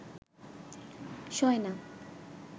শোয় না